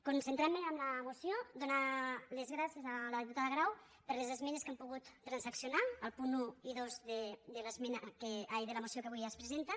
concentrant me en la moció donar les gràcies a la diputada grau per les esmenes que hem pogut transaccionar els punts un i dos de la moció que avui es presenta